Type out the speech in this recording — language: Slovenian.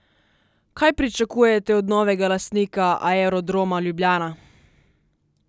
Kaj pričakujete od novega lastnika Aerodroma Ljubljana?